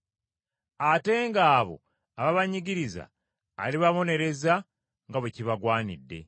ate ng’abo ababanyigiriza alibabonereza nga bwe kibagwanidde.